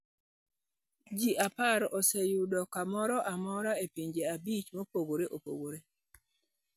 Ji 10 oseyudo kamoro amora e pinje 5 mopogore opogore.